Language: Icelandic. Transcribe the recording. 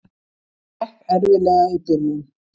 Það gekk erfiðlega í byrjun.